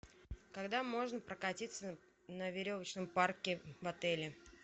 когда можно прокатиться на веревочном парке в отеле